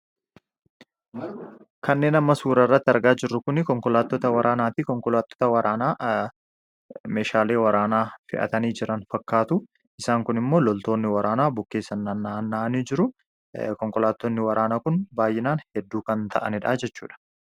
kannee amma suurarratti argaa jirru kuni konkolaatota waraanaatii konkolaatota waraanaa meeshaalee waraanaa fi'atanii jiran fakkaatu isaan kun immoo loltoonni waraanaa bukkeessa naannaanii jiru konkolaattoonni waraanaa kun baay'inaan hedduu kan ta'anidhaa jechuudha